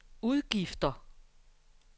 udgifter